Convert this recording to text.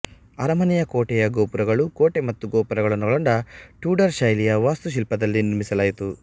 ಅರಮನೆ ಕೋಟೆಯ ಗೋಪುರಗಳು ಕೋಟೆ ಮತ್ತು ಗೋಪುರಗಳನ್ನೊಳಗೊಂಡ ಟ್ಯೂಡರ್ ಶೈಲಿಯ ವಾಸ್ತುಶಿಲ್ಪದಲ್ಲಿ ನಿರ್ಮಿಸಲಾಯಿತು